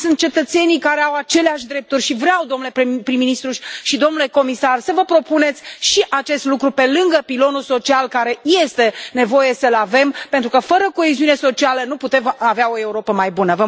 Sunt cetățeni care au aceleași drepturi și vreau, domnule prim ministru și domnule comisar, să vă propuneți și acest lucru pe lângă pilonul social, pe care este nevoie să l avem, pentru că fără coeziune socială nu putem avea o Europă mai bună.